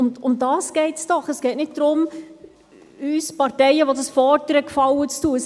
Darum geht es doch, es geht nicht darum, den Parteien, die dies fordern, einen Gefallen zu tun.